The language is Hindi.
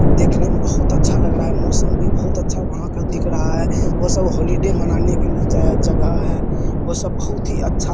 देखने में बहुत अच्छा लग रहा है मौसम भी बहुत अच्छा वहां का दिख रहा है वो सब हॉलिडे मनाने का जगह है वो सब बहुत ही अच्छा --